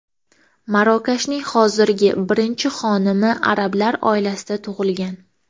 Marokashning hozirgi birinchi xonimi arablar oilasida tug‘ilgan.